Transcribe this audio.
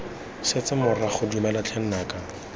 setse morago dumela tlhe nnaka